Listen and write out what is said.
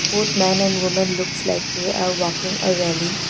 both man and women looks like they are walking a rally.